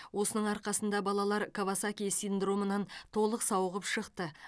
осының арқасында балалар кавасаки синдромынан толық сауығып шықты